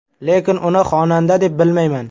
Lekin uni xonanda deb bilmayman.